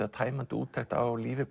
tæmandi úttekt á lífi